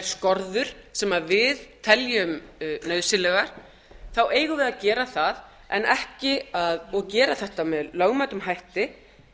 skorður sem við teljum nauðsynlegar þá eigum við að gera það og gera þetta með lögmætum hætti